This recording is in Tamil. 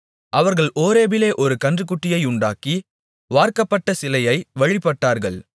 அவர்கள் ஓரேபிலே ஒரு கன்றுக்குட்டியையுண்டாக்கி வார்க்கப்பட்ட சிலையை வழிபட்டார்கள்